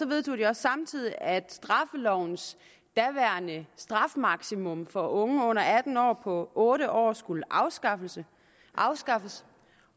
vedtog de også samtidig at straffelovens daværende strafmaksimum for unge under atten år på otte år skulle afskaffes afskaffes